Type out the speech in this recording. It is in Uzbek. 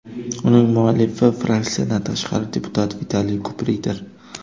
Uning muallifi fraksiyadan tashqari deputat Vitaliy Kupriydir.